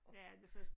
Ja det første